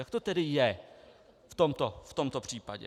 Jak to tedy je v tomto případě?